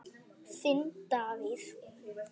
Þinn Davíð.